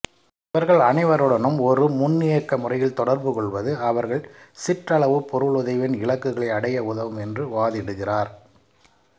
இவர்கள் அனைவருடனும் ஒரு முன்னியக்க முறையில் தொடர்பு கொள்வது அவர்கள் சிற்றளவுப் பொருளுதவியின் இலக்குகளை அடைய உதவும் என்று வாதிடுகிறார்